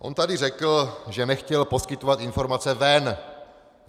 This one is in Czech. On tady řekl, že nechtěl poskytovat informace ven!